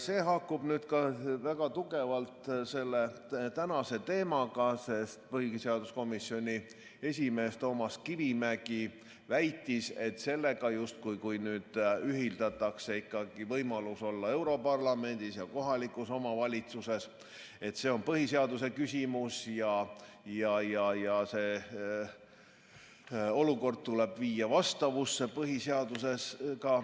See haakub ka väga tugevalt tänase teemaga, sest põhiseaduskomisjoni esimees Toomas Kivimägi väitis, et kui nüüd ühitatakse ikkagi võimalus olla europarlamendis ja kohalikus omavalitsuses, siis see on põhiseaduse küsimus ja olukord tuleb viia sellega vastavusse ka põhiseaduses.